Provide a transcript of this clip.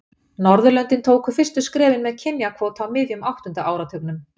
Norðurlöndin tóku fyrstu skrefin með kynjakvóta á miðjum áttunda áratugnum.